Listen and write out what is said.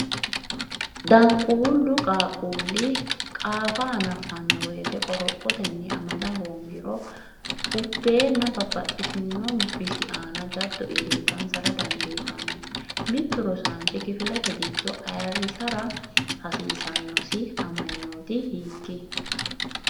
Danquullu qaaqquulli qaafa hanaffanno wote qorophotenni amada hoongiro ubbeenna babbaxxino bisi aana jaddo iillitansara dandiitan, Mittu rosaanchi kifilete giddo ayirrisara hasiisannosi amanyooti hiik?